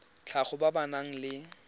tlhago ba ba nang le